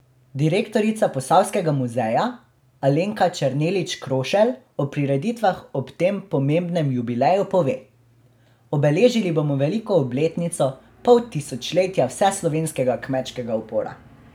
Direktorica Posavskega muzeja Alenka Černelič Krošelj o prireditvah ob tem pomembnem jubileju pove: 'Obeležili bomo veliko obletnico, pol tisočletja vseslovenskega kmečkega upora.